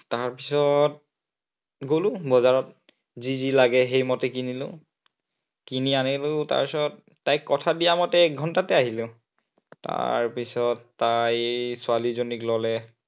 তাৰপিছত গলো বজাৰত, যি যি লাগে সেই মতে কিনিলো। কিনি আনিলো, তাৰপিছত তাইক কথা দিয়া মতে এক ঘন্টাতে আহিলো। তাৰপিছত তাই ছোৱালীজনীক ললে।